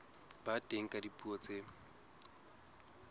ba teng ka dipuo tse